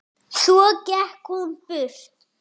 Svo gekk hún burt.